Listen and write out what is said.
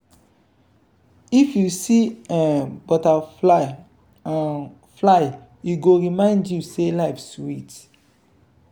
if you see um butterfly um fly e go remind you say life sweet.